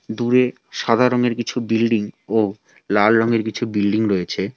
দূরে সাদা রঙের কিছু বিল্ডিং ও লাল রঙের কিছু বিল্ডিং রয়েছে।